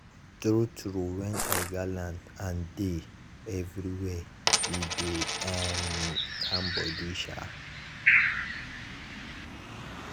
true true when i galant and dey everywhere e dey um calm body down. um